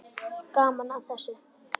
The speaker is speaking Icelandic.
Gaman að þessu.